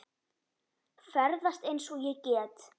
Ferðast eins og ég get.